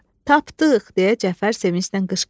Tapdıq, deyə Cəfər sevinclə qışqırdı.